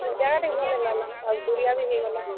ଜାଗା ଟିକେ ଭଲ୍ ନିଁ ଲାଗଲା, ଆଉ ଦୁରିଆ ଟିକେ ବି ହେଇଗଲା।